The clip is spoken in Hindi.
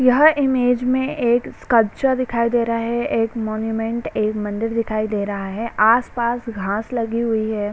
यह इमेज में एक स्कल्पचर दिखाई दे रहा है एक मोनुमेंट्स एक मंदिर दिखाई दे रहा है आस-पास घास लगी हुई है।